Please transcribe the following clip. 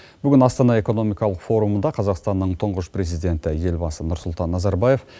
бүгін астана экономикалық форумында қазақстанның тұңғыш президенті елбасы нұрсұлтан назарбаев